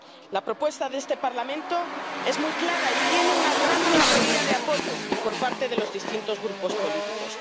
La propuesta de este Parlamento es muy clara y tiene una gran mayoría de apoyo por parte de los distintos grupos políticos.